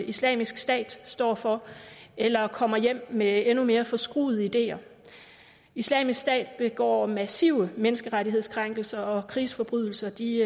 islamisk stat står for eller kommer hjem med endnu mere forskruede ideer islamisk stat begår massive menneskerettighedskrænkelser og krigsforbrydelser de